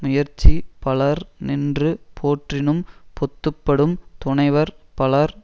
முயற்சி பலர் நின்று போற்றினும் பொத்து படும் துணைவர் பலர்